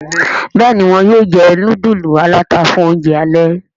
Béèni wón yóò jé nudulu alata fún oúnjẹ alè.